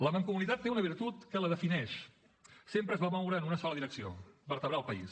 la mancomunitat té una virtut que la defineix sempre es va moure en una sola direcció vertebrar el país